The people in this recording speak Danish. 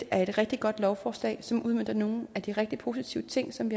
er et rigtig godt lovforslag som udmønter nogle af de rigtig positive ting som